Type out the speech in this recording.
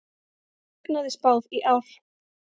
Hagnaði spáð í ár